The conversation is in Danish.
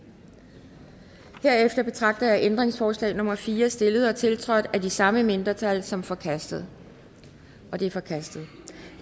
herefter betragter jeg ændringsforslag nummer fire stillet og tiltrådt af de samme mindretal som forkastet det er forkastet